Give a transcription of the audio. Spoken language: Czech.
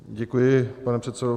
Děkuji, pane předsedo.